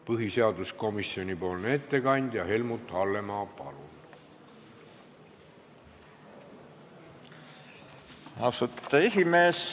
Põhiseaduskomisjoni ettekandja Helmut Hallemaa, palun!